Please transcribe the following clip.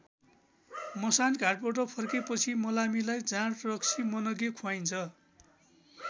मसान घाटबाट फर्केपछि मलामीलाई जाँड रक्सी मनग्गे खुवाइन्छ।